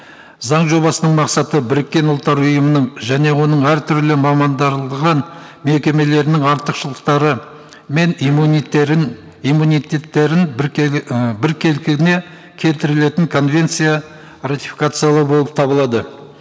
заң жобасының мақсаты біріккен ұлттар ұйымының және оның әртүрлі мекемелерінің артықшылықтары мен иммунитеттерін і келтірілетін конвенция ратификациялау болып табылады